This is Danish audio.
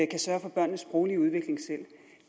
kan sørge for børnenes sproglige udvikling